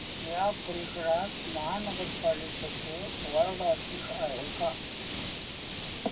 या परिसरात महानगर पालिकेचं वॉर्ड ऑफिस आहे का